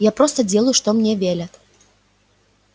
я просто делаю что мне велят